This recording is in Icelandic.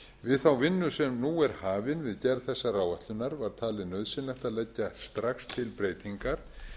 við þá vinnu sem nú er hafin við gerð þessarar áætlunar var talið nauðsynlegt að leggja strax til breytingar